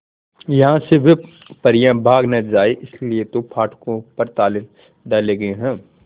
यहां से वे परियां भाग न जाएं इसलिए तो फाटकों पर ताले डाले गए हैं